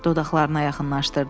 Dodaqlarına yaxınlaşdırdı.